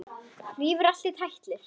Rífur allt í tætlur.